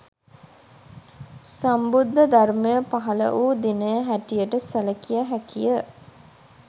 සම්බුද්ධ ධර්මය පහළ වූ දිනය හැටියට සැලකිය හැකිය